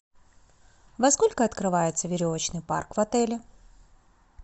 во сколько открывается веревочный парк в отеле